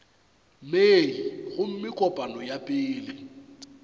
mei gomme kopano ya pele